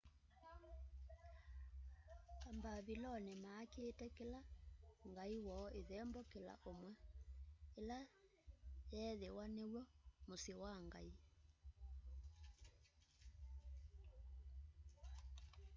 ambaviloni makiite kila ngai woo ithembo kila umwi ila yeethiwa niwo musyi wa ngai